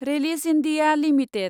Ryle's India limited